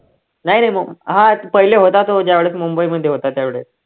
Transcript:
नाही रे मुम हा पहिले होता तो ज्यावेळेस मुंबईमध्ये होता त्यावेळेस